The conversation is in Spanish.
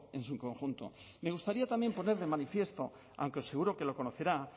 en su conjunto me gustaría también poner de manifiesto aunque seguro que lo conocerá